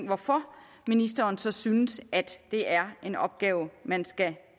hvorfor ministeren så synes det er en opgave man skal